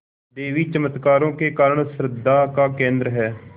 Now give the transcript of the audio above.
देवी चमत्कारों के कारण श्रद्धा का केन्द्र है